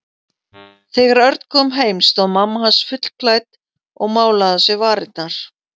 Þegar Örn kom heim stóð mamma hans fullklædd og málaði á sér varirnar.